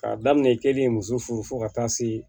K'a daminɛ i kelen ye muso furu fo ka taa se